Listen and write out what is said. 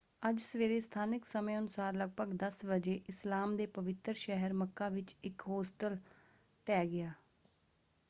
ਅੱਜ ਸਵੇਰੇ ਸਥਾਨਕ ਸਮੇਂ ਅਨੁਸਾਰ ਲਗਭਗ 10 ਵਜੇ ਇਸਲਾਮ ਦੇ ਪਵਿੱਤਰ ਸ਼ਹਿਰ ਮੱਕਾ ਵਿੱਚ ਇੱਕ ਹੋਸਟਲ ਢਹਿ ਗਿਆ।